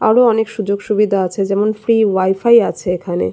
আরো অনেক সুযোগ সুবিধা আছে যেমন ফ্রী ওয়াই-ফাই আছে এখানে।